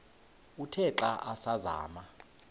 uthe xa asazama